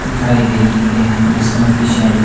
दिखाई दे रही है जिसमें कि सैम--